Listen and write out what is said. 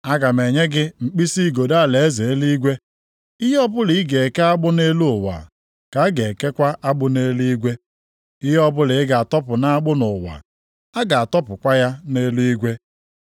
Aga m enye gị mkpisi igodo alaeze eluigwe. Ihe ọbụla ị ga-eke agbụ nʼelu ụwa, ka a ga-ekekwa agbụ nʼeluigwe. Ihe ọbụla ị ga-atọpụ nʼagbụ nʼụwa, a ga-atọpụkwa ya nʼeluigwe.”